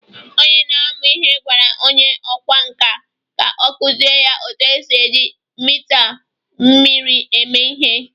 onye na-amụ ihe gwara onye ọkwá nkà ka ọ kụziere ya otú e si eji mita mmiri eme ihe